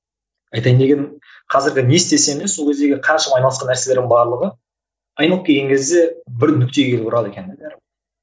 айтайын дегенім қазіргі не істесең де сол кездегі қаншама айналысқан нәрселердің барлығы айналып келген кезде бір нүктеге келіп ұрады екен де